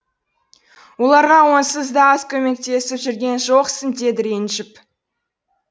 оларға онсыз да аз көмектесіп жүрген жоқсың деді ренжіп